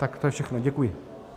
Tak to je všechno, děkuji.